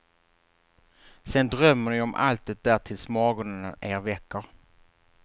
Sen drömmer ni om allt det där tills morgonen er väcker.